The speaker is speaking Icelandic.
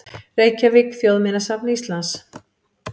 Reykjavík: Þjóðminjasafn Íslands.